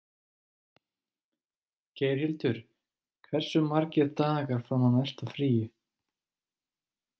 Geirhildur, hversu margir dagar fram að næsta fríi?